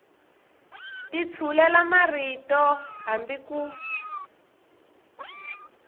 ti tshulela marito hambi ku